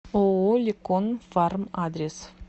ооо лекон фарм адрес